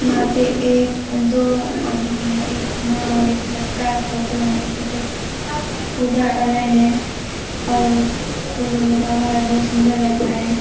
यहाँ पे एक दो आदमी है एक माँ और एक बच्चा फोटो है फोटो पूजा कर रहे है और फूल उल लगा हुआ है बहुत सूंदर दिखाई है।